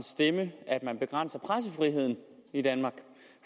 stemme at man begrænser pressefriheden i danmark